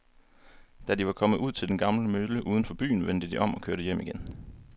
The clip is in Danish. Da de var kommet ud til den gamle mølle uden for byen, vendte de om og kørte hjem igen.